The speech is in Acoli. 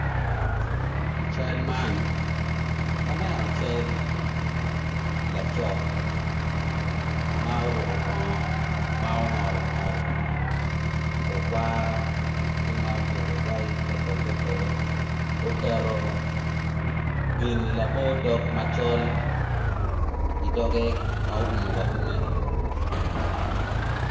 I cal man aneno cal laco ma oruko bongo ma ongolo ongolo okwara ki ma obedo calo te polo te polo oketo gin labo dong macol i dogge ma oumo wa ume